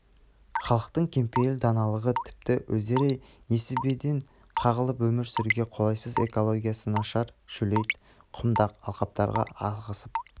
халқының кеңпейіл даналығы тіпті өздері несібеден қағылып өмір сүруге қолайсыз экологиясы нашар шөлейт құмдақ алқаптарға ығысып